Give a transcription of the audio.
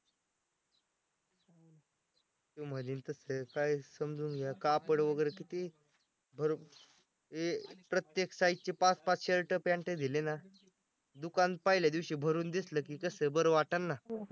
तो म्हणील तसं काय समजून घ्या कापड वगैरे किती हे प्रत्येक size चे पाच पाच shirt pant दिले ना दुकान पाहिल्यादिवशी भरून दिसलं की कसं बरं वाटन ना